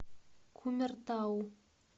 кумертау